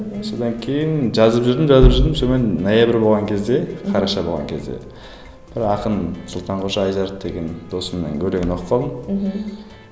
содан кейін жазып жүрдім жазып жүрдім сонымен ноябрь болған кезде қараша болған кезде бір ақын сұлтанқожа айжарық деген досымның өлеңін оқып қалдым мхм